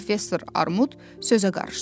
Professor Armud sözə qarışdı.